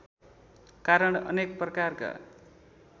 कारण अनेक प्रकारका